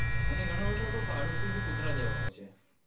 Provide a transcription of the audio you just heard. અને ઘણાબધા પાડોસી ભી કુતરા જેવા હોઈ છે